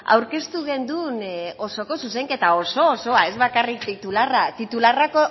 aurkeztu genuen osoko zuzenketa oso osoa ez bakarrik titularra titularra